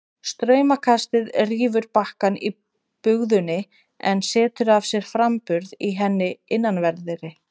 Straumkastið rýfur bakkann í bugðunni en setur af sér framburð í henni innanverðri.